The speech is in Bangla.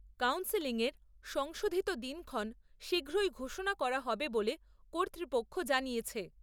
কাউন্সেলিং এর সংশোধিত দিনক্ষণ শীঘ্রই ঘোষণা করা হবে বলে কর্তৃপক্ষ জানিয়েছে।